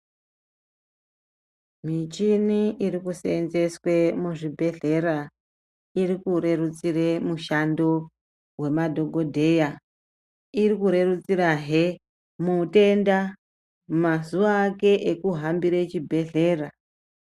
Michini irikuseenzeswe muzvibhedhlera irikurerutsire mushando wemadhogodheya. Irikurerutsirahe mutenda mazuva ake ekuhambire chibhehlera.